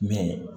Mɛ